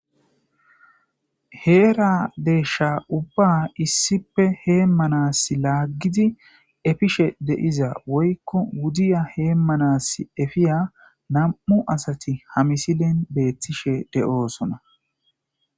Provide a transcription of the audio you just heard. heera deeshsha ubba issipe heemmanas laggidi efishshe de'iza woykko wudiiya hemanas efiiya nam'u assatti ha misilen beettishshe de'ossona